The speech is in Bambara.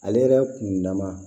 Ale yɛrɛ kun dama